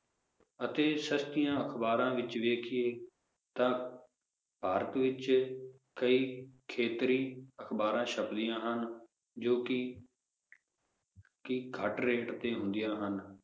ਅਤੇ ਸਸਤੀਆਂ ਅਖਬਾਰਾਂ ਵਿਚ ਵੇਖੀਏ ਤਾਂ ਭਾਰਤ ਵਿਚ ਕਈ ਖੇਤਰੀ-ਅਖਬਾਰਾਂ ਛਪਦੀਆਂ ਹਨ ਜੋ ਕਿ ਕਿ ਘੱਟ rate ਤੇ ਹੁੰਦੀਆਂ ਹਨ